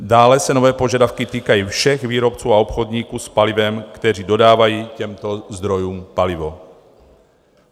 Dále se nové požadavky týkají všech výrobců a obchodníků s palivem, kteří dodávají těmto zdrojům palivo.